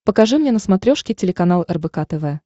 покажи мне на смотрешке телеканал рбк тв